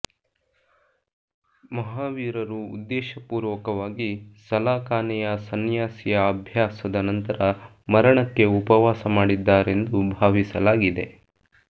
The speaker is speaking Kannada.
ಮಹಾವೀರರು ಉದ್ದೇಶಪೂರ್ವಕವಾಗಿ ಸಲಾಖಾನೆಯ ಸನ್ಯಾಸಿಯ ಅಭ್ಯಾಸದ ನಂತರ ಮರಣಕ್ಕೆ ಉಪವಾಸ ಮಾಡಿದ್ದಾರೆಂದು ಭಾವಿಸಲಾಗಿದೆ